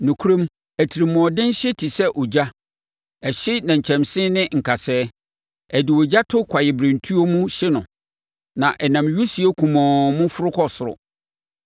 Nokorɛm atirimuɔden hye te sɛ ogya; ɛhye nnɛnkyɛnse ne nkasɛɛ, ɛde ogya to kwaeɛbirentuo mu hye no, na ɛnam wisie kumɔnn mu foro kɔ soro.